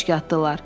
Püşk atdılar.